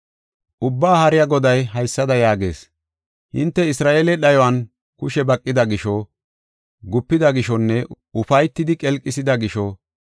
Ubbaa Haariya Goday haysada yaagees: ‘Hinte Isra7eele dhayuwan kushe baqida gisho, gupida gishonne ufaytidi qelqisida gisho,